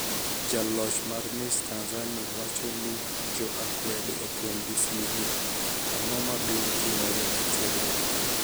Jaloch mar Miss Tanizaniia wacho nii jo akwede oponig' gi sigu .Anig'o mabiro timore e tiegruok?